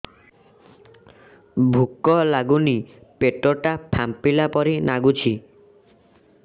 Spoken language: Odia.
ଭୁକ ଲାଗୁନି ପେଟ ଟା ଫାମ୍ପିଲା ପରି ନାଗୁଚି